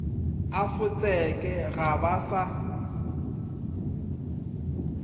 a fotseke ga ba sa